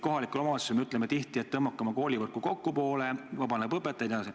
Kohalikule omavalitsusele öeldakse tihti, et tõmmake oma koolivõrku kokku, siis vabaneb õpetajaid.